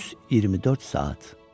Düz 24 saat.